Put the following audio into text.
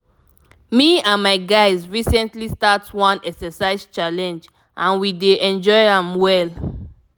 me and my guys recently start one exercise challenge and we dey enjoy am well.